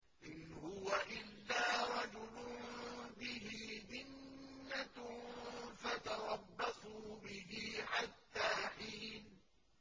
إِنْ هُوَ إِلَّا رَجُلٌ بِهِ جِنَّةٌ فَتَرَبَّصُوا بِهِ حَتَّىٰ حِينٍ